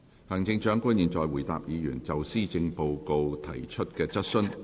行政長官現在回答議員就施政報告提出的質詢。